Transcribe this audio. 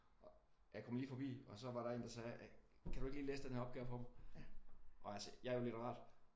Jeg kom lige forbi og så var der en der sagde kan du ikke lige læse den her opgave for mig? Og jeg sagde jeg er jo litterat